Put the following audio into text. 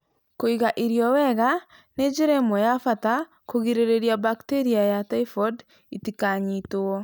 Kũiga irio wega nĩ njĩra ĩmwe ya bata ya kũgirĩrĩria bakteria ya typhoid itikanyitwo.